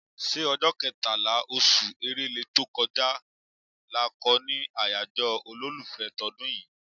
ṣé ọjọ́ kẹtàlá, oṣù Èrèlé tó kọjá lọ kọ́ ni àyájọ́ olólùfẹ́ tọdún yìí?